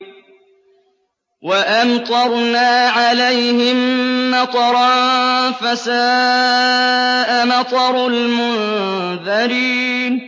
وَأَمْطَرْنَا عَلَيْهِم مَّطَرًا ۖ فَسَاءَ مَطَرُ الْمُنذَرِينَ